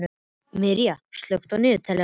Miriam, slökktu á niðurteljaranum.